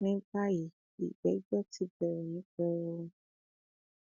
ní báyìí ìgbẹjọ ti bẹrẹ ní pẹrẹu